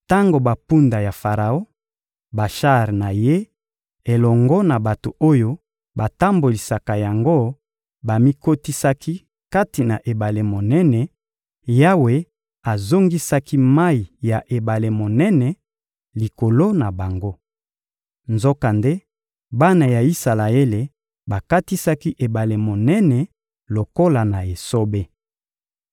Tango bampunda ya Faraon, bashar na ye elongo na bato oyo batambolisaka yango bamikotisaki kati na ebale monene, Yawe azongisaki mayi ya ebale monene likolo na bango. Nzokande bana ya Isalaele bakatisaki ebale monene lokola na esobe.